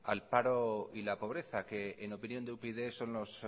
al paro y la pobreza que en opinión de upyd son los